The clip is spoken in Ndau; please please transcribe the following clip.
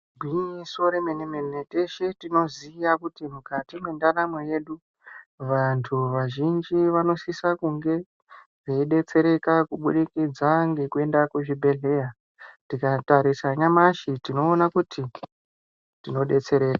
Igwinyiso remene-mene teshe tinoziya kuti mukati mwendaramo yedu vantu vazhinji vanosisa kunge veidetsereka kubudikidza ngekuenda kuzvibhedhleya. Tikatarisa nyamashi tinoona kuti tinodetsereka.